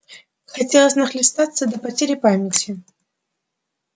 хотелось нахлестаться до потери памяти